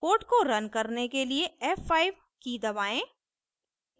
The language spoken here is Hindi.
code को रन करने के लिए f5 की दबाएँ